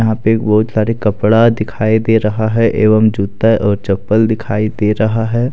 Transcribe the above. यहां पे बहुत सारे कपड़ा दिखाई दे रहा है एवं जूता और चप्पल दिखाई दे रहा है।